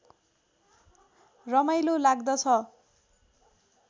रमाइलो लाग्दछ